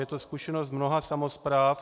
Je to zkušenost mnoha samospráv.